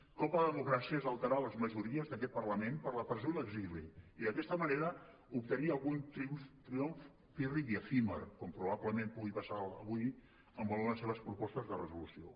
un cop a la democràcia és alterar les majories d’aquest parlament per la presó i l’exili i d’aquesta manera obtenir algun triomf pírric i efímer com probablement pot passar avui en algunes de les seves propostes de resolució